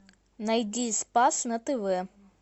найди спас на тв